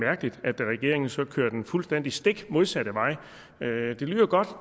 mærkeligt at regeringen så kører den fuldstændig stik modsatte vej det lyder godt